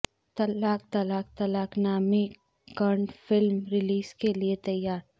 طلاق طلاق طلاق نامی Kannada film release کیلئے تیار